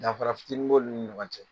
Dafara fitiinin b'olu ni ɲɔgɔn cɛ